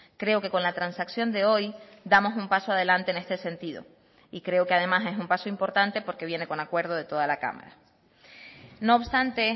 creo que con la transacción de hoy damos un paso adelante en este sentido y creo que además es un paso importante porque viene con acuerdo de toda la cámara no obstante